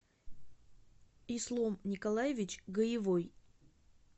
ислом николаевич гаевой